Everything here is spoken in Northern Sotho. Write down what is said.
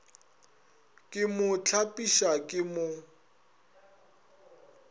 ke mo hlapiša ke mo